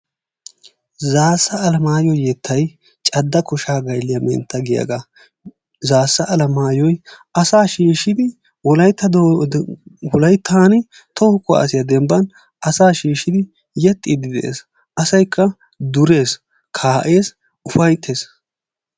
Zassa Alamayo yettay cadda kosha gaylliyaa mentta giyaga. Zassa Alamayo asa shishidi wolayttan toho kuwasiyaa dembban asa shiishshidi yexxiidi de'ees. Asaykka durees, ka'ees, ufayttees.